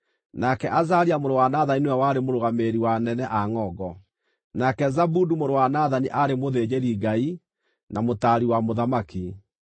nake Azaria mũrũ wa Nathani nĩwe warĩ mũrũgamĩrĩri wa anene a ngʼongo; nake Zabudu mũrũ wa Nathani aarĩ mũthĩnjĩri-Ngai na mũtaari wa mũthamaki;